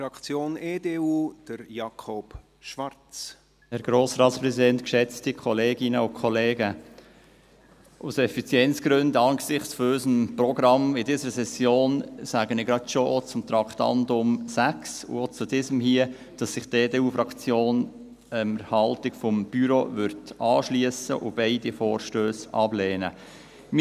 Aus Effizienzgründen, angesichts unseres Sessionsprogramms, sage ich auch gleich zum Traktandum 6 sowie zum vorliegenden, dass sich die EDU-Fraktion der Haltung des Büros anschliesst und beide Vorstösse ablehnen wird.